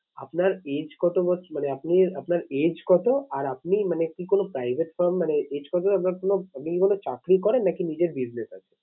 আপনার age কত মানে আপনি, আপনার age কত আর আপনি মানে কি কোনো private মানে আপনার কোনো, আপনি কি কোনো চাকরি করেন? নাকি নিজের business আছে?